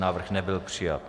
Návrh nebyl přijat.